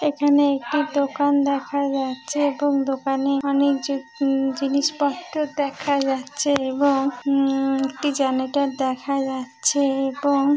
এখানে একটি দোকান দেখা যাচ্ছে এবং দোকানে অনেক যে উম জিনিসপত্র দেখা যাচ্ছে এবং উম একটি জেনাটার দেখা যাচ্ছে এবং --